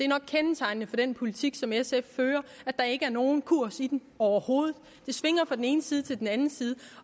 nok kendetegnende for den politik som sf fører at der ikke er nogen kurs i den overhovedet det svinger fra den ene side til den anden side